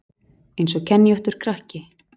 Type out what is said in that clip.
Eins og kenjóttur krakki